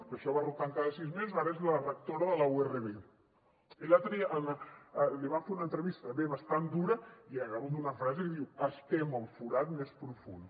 que això va rotant cada sis mesos ara és la rectora de la urv i l’altre dia li van fer una entrevista també bastant dura i hi ha hagut una frase que diu estem al forat més profund